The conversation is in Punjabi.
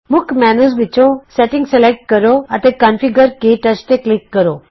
ਮੁੱਖ ਮੈਨਯੂ ਵਿਚੋਂ ਸ਼ੈਟਿੰਗ ਸਲੈਕਟ ਕਰੋ ਅਤੇ ਕੌਨਫਿਗਰ ਕੇ ਟੱਚ ਤੇ ਕਲਿਕ ਕਰੋ